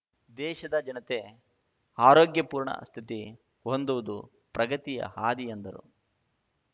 ದೇಶದ ಜನತೆ ಆರೋಗ್ಯಪೂರ್ಣ ಸ್ಥಿತಿ ಹೊಂದುವುದು ಪ್ರಗತಿಯ ಹಾದಿ ಎಂದರು